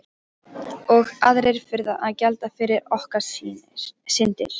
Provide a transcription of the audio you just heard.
Og aðrir þurfa að gjalda fyrir okkar syndir.